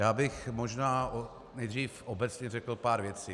Já bych možná nejdříve obecně řekl pár věcí.